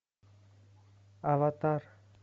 аватар